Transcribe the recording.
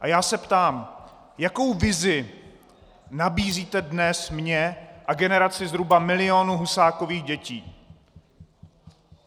A já se ptám, jakou vizi nabízíte dnes mně a generaci zhruba milionu Husákových dětí?